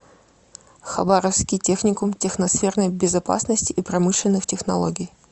хабаровский техникум техносферной безопасности и промышленных технологий